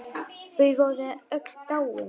Þau voru öll dáin.